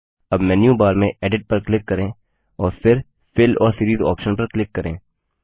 अब menu bar में edit पर क्लिक करें और फिर फिल और सीरीज ऑप्शन पर क्लिक करें